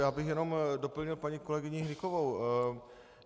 Já bych jenom doplnil paní kolegyni Hnykovou.